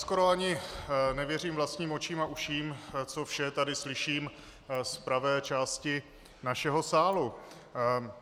Skoro ani nevěřím vlastním očím a uším, co vše tady slyším z pravé části našeho sálu.